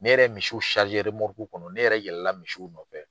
Ne yɛrɛ ye misiw kɔnɔ ne yɛrɛ yɛlɛla misiw nɔfɛ